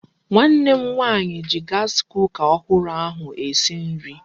Nwanne m nwaanyị ji gaasi kuka ọhụrụ ahụ esi nri.